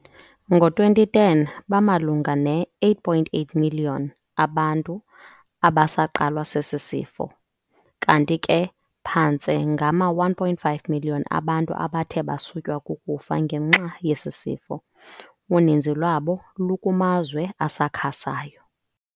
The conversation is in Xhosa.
Ngo-2010, bamalunga ne-8.8 million abantu abasaqalwa sesi sifo, kanti ke phantse ngama-1.5 million abantu abathe basutywa kukufa ngenxa yesi sifo, uninzi lwabo lukumazwe asakhasayo.